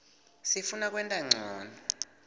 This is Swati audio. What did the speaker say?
sifuna kwenta ncono